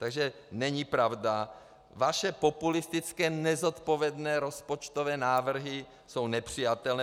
Takže není pravda - vaše populistické nezodpovědné rozpočtové návrhy jsou nepřijatelné.